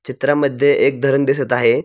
चित्रामध्ये एक धरण दिसत आहे.